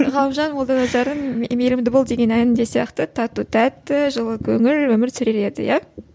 ғалымжан молданазардың мейірімді бол деген әнін де сияқты тату тәтті жылы көңіл өмір сүрер еді иә